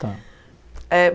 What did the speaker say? Tá. Eh